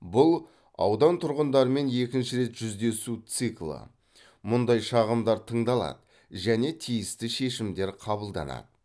бұл аудан тұрғындарымен екінші рет жүздесу циклы мұндай шағымдар тыңдалады және тиісті шешімдер қабылданады